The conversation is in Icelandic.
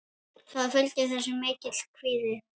Það fylgir þessu mikill kvíði.